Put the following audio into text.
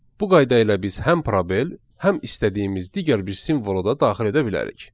Bu qayda ilə biz həm probel, həm istədiyimiz digər bir simvolu da daxil edə bilərik.